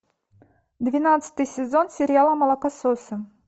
двенадцатый сезон сериала молокососы